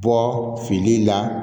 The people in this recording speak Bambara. Bɔ fini la